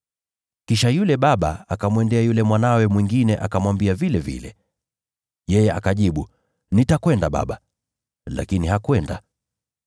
“Kisha yule baba akamwendea yule mwanawe mwingine akamwambia vilevile. Yeye akajibu, ‘Nitakwenda, bwana,’ lakini hakwenda.